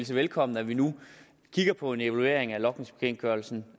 det velkommen at vi nu kigger på en evaluering af logningsbekendtgørelsen